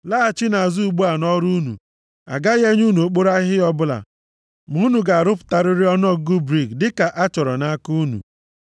Laghachinụ azụ ugbu a nʼọrụ unu. A gaghị enye unu okporo ahịhịa ọbụla. Ma unu ga-arụpụtarịrị ọnụọgụgụ brik dị ka a chọrọ nʼaka unu.”